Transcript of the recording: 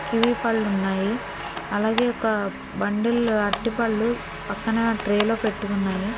Kiwi పళ్ళు ఉన్నాయి అలాగే ఒక బండిల్ అట్టిపళ్ళు పక్కన ట్రే లో పెట్టి ఉన్నాయి.